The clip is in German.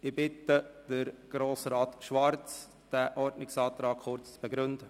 Ich bitte Grossrat Schwarz, den Ordnungsantrag kurz zu begründen.